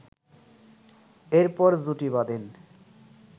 এরপর জুটি বাঁধেন